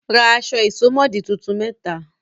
Ra aṣọ ìsomọ́ọ̀dí tuntun mẹ́ta!